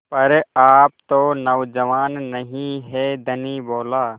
पर आप तो नौजवान नहीं हैं धनी बोला